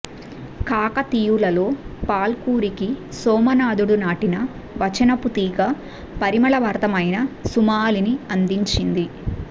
కాకతీయులలో పాల్కురికి సోమనాధుడు నాటిన వచనపు తీగ పరిమళభరితమైన సుమాలని అందించింది